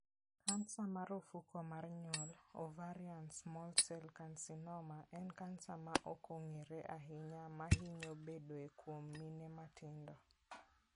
kansa mar ofuko mar nyuol (ovarian small cell carcinoma) en kansa ma ok ong'ere ahinya ma hinyo bedoe kuom mine matindo.